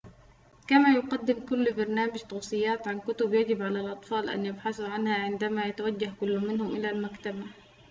كما يقدم كل برنامج توصيات عن كتب يجب على الأطفال أن يبحثوا عنها عندما يتوجه كل منهم إلى المكتبة